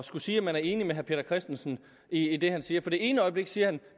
skulle sige at man er enig med herre peter christensen i det han siger for det ene øjeblik siger han